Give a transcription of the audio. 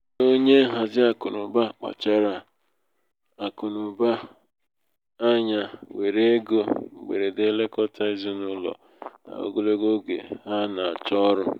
onye nhazi akụnaụba kpachara akụnaụba kpachara anya were égo mgberede lekọta ezinaụlọ n'ogologo oge ha na-achọ ọrụ